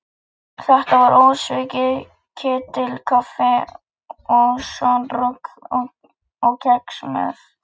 Þetta var ósvikið ketilkaffi og skonrok og kex með.